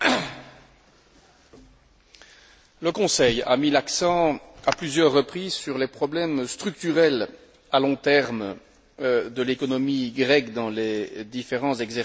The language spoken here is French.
Le Conseil a mis l'accent à plusieurs reprises sur les problèmes structurels à long terme de l'économie grecque dans les différents exercices de surveillance multilatérale.